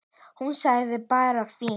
Hún sagði bara fínt.